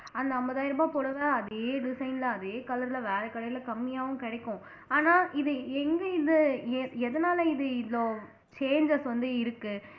அந்த ஐம்பதாயிரம் ரூபாய் புடவை அதே design ல அதே color ல வேற கடையில கம்மியாவும் கிடைக்கும் ஆனா இது எங்க இது எ எதனால இது இவ்ளோ changes வந்து இருக்கு